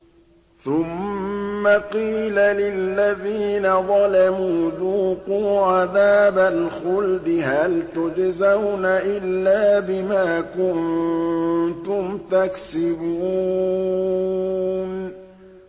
ثُمَّ قِيلَ لِلَّذِينَ ظَلَمُوا ذُوقُوا عَذَابَ الْخُلْدِ هَلْ تُجْزَوْنَ إِلَّا بِمَا كُنتُمْ تَكْسِبُونَ